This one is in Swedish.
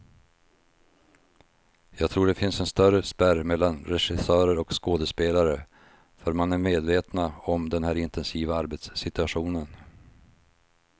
Jag tror det finns en större spärr mellan regissörer och skådespelare, för man är medvetna om den här intensiva arbetssituationen.